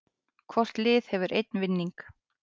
Hvort lið hefur einn vinning